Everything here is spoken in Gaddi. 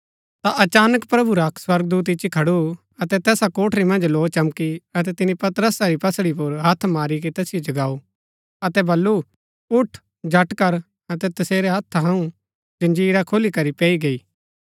ता अचानक प्रभु रा अक्क स्वर्गदूत इच्ची खडु अतै तैसा कोठरी मन्ज लौ चमकी अतै तिनी पतरसा री पसली पुर हत्थ मारी के तैसिओ जगाऊ अतै बल्लू उठ झट कर अतै तसेरै हत्था थऊँ जंजीरा खुलीकरी पैई गई